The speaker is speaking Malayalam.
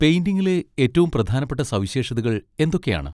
പെയിന്റിങിലെ ഏറ്റവും പ്രധാനപ്പെട്ട സവിശേഷതകൾ എന്തൊക്കെയാണ്?